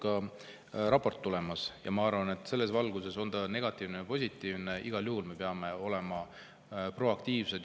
Ma arvan, et, kas see on negatiivne või positiivne, me peame igal juhul olema proaktiivsed.